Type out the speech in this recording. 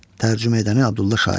Tərcümə edəni Abdullah Şaiq.